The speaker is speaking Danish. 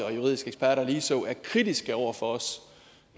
og juridiske eksperter ligeså relativt ofte er kritiske over for os